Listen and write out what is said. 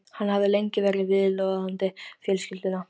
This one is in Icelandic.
Hann hafði lengi verið viðloðandi fjölskylduna.